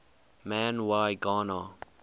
man y gana